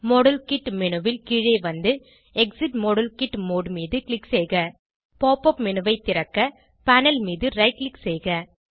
model kit menu ல் கீழே வந்து எக்ஸிட் மாடல் கிட் மோடு மீது க்ளிக் செய்க pop உப் மேனு ஐ திறக்க பேனல் மீது ரைட் க்ளிக் செய்க